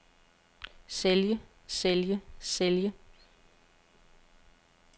sælge sælge sælge